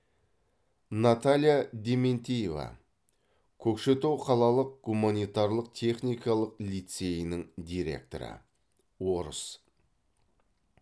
наталья дементиева көкшетау қалалық гуманитарлық техникалық лицейінің директоры орыс